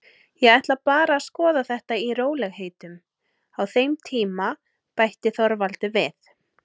Ég ætla bara að skoða þetta í rólegheitum á þeim tíma, bætti Þorvaldur við.